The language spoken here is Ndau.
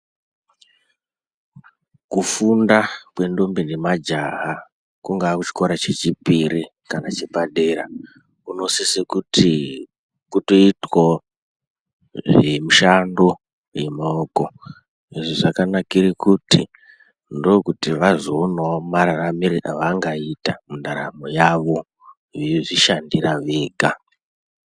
Kufunda kwendombi nemajaha kungaa kuchikora chechipiri kana chepadera, kunosise kuti kutoitwewo nemishando yemaoko izvo zvakanakire kuti ndokuti vazoonawo mararamiro evangaita mundaramo yavo veizvishandira vega.